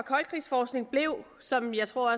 koldkrigsforskning blev som jeg tror